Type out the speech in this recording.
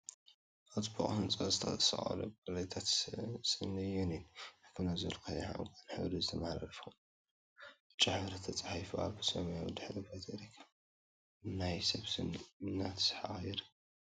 አብ ፅቡቅ ህንፃ ዝተሰቀሉ ታፔላታት ስኒ ዩኒየን ሕክምና ዝብል ብቀይሕን ዕንቋይን ሕብሪ ዝተፀሓፈ ኮይኑ፤ አብ ብጫ ሕብሪ ተፃሒፉ አብ ሰማያዊ ድሕረ ባይታ ይርከብ፡፡ ናይ ሰብ ስኒ እናሰሓቀ ይርከብ፡፡